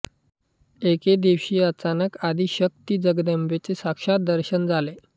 एके दिवशी अचानक आदिशक्ती जगदंबेचे साक्षात् दर्शन झाले